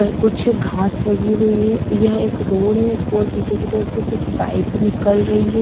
यह कुछ घास लगी हुई है यह एक रोड है और पीछे की तरफ से कुछ बाइक निकल रही है।